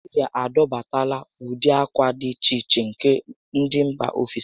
Naijiria adọbatala ụdị ákwà di iche iche nke ndị mbà ofesi